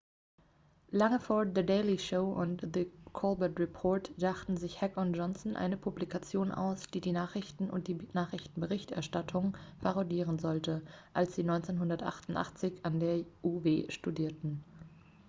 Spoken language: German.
lange vor the daily show und the colbert report dachten sich heck und johnson eine publikation aus die die nachrichten und die nachrichtenberichterstattung parodieren sollte als sie 1988 an der uw studierten